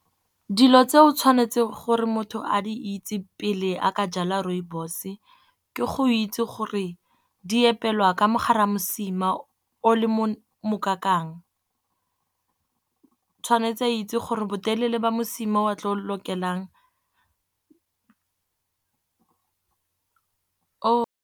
Dilo tse o tshwanetseng gore motho a di itse pele a ka jala rooibos, ke go itse gore di epelwa ka mogare ga mosima o le mokakang. Tshwanetse a itse gore botelele ba mosima o a tlo lokelang o.